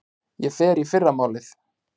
Ég fer í fyrramálið.